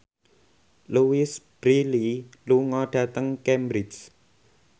Louise Brealey lunga dhateng Cambridge